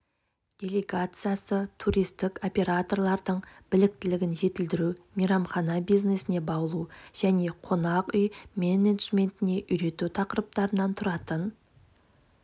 делегациясы туристік операторлардың біліктілігін жетілдіру мейрамхана бизнесіне баулу және қонақ үй менеджментіне үйрету тақырыптарынан тұратын